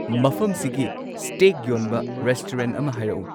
ꯃꯐꯝ ꯁꯤꯒꯤ ꯁ꯭ꯇꯦꯛ ꯌꯣꯟꯕ ꯔꯦꯁꯇꯨꯔꯦꯟꯠ ꯑꯃ ꯍꯥꯏꯔꯛꯎ